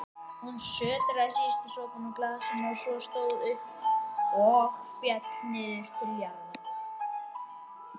Hún sötraði síðustu sopana úr glasinu sínu og stóð svo upp.